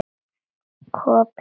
Koppinn undir rúmi sá.